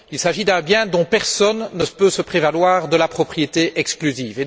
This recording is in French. Il s'agit d'un bien dont personne ne peut se prévaloir de la propriété exclusive.